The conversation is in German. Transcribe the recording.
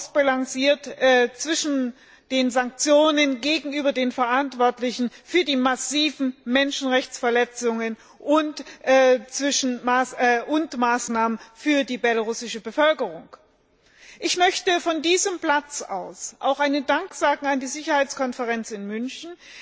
Das ist ausbalanciert zwischen den Sanktionen gegenüber den für die massiven Menschenrechtsverletzungen Verantwortlichen und Maßnahmen für die belarussische Bevölkerung. Ich möchte von diesem Platz aus auch einen Dank sagen an die Sicherheitskonferenz in München,